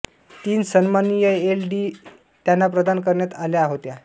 तीन सन्माननीय L L D त्यांना प्रदान करण्यात आल्या होत्या